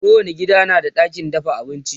kowani gida na da ɗakin dafa abinci